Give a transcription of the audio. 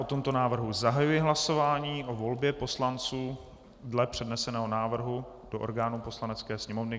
O tomto návrhu zahajuji hlasování, o volbě poslanců dle předneseného návrhu do orgánů Poslanecké sněmovny.